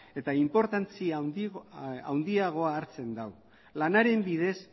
eta inportantzia handiagoa hartzen du lanaren bidez